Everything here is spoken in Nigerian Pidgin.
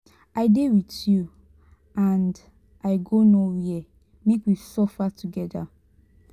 i dey with you and i go no where make we suffer together.